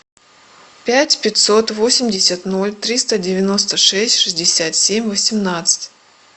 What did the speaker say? пять пятьсот восемьдесят ноль триста девяносто шесть шестьдесят семь восемнадцать